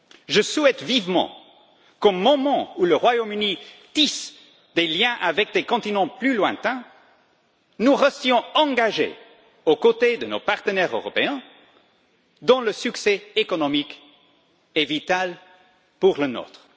Je souhaite vivement qu'au moment où le Royaume Uni tisse des liens avec des continents plus lointains, nous restions engagés aux côtés de nos partenaires européens dans leur succès économique, vital pour le nôtre.